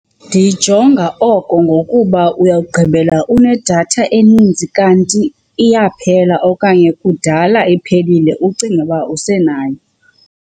Ndiyijonga oko ngokuba uyawugqibela unedatha eninzi kanti iyaphela okanye kudala iphelile ucinge uba usenayo.